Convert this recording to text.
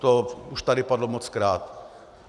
To už tady padlo mockrát.